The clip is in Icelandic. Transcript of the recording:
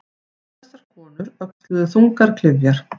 Þessar konur öxluðu þungar klyfjar.